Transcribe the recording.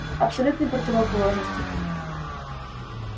абсолютные противоположности